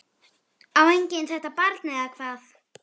Á enginn þetta barn eða hvað?